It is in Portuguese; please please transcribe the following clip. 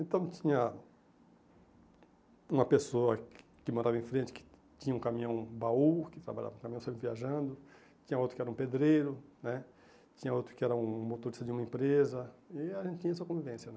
Então tinha uma pessoa que que morava em frente, que tinha um caminhão baú, que trabalhava com caminhão sempre viajando, tinha outro que era um pedreiro né, tinha outro que era um motorista de uma empresa, e a gente tinha essa convivência.